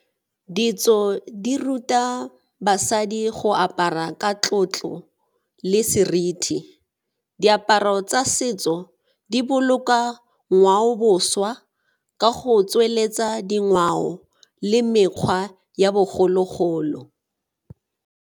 Ditso di ruta basadi go apara ka tlotlo le seriti. Diaparo tsa setso di boloka ngwaoboswa ka go tsweletsa dingwao le mekgwa ya bogologolo.